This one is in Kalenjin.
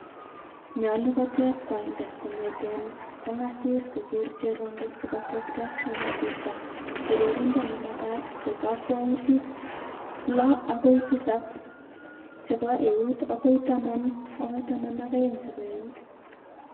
nyolu koteb kooindo kongeteen kongasis kogeer cherongo sikotekta en asista. Toroorindo nemagat ko kakwautik 6-7 chebo eut agoi 10-12 chebo eut.